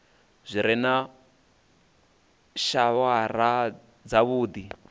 zwi re na shawara dzavhuddi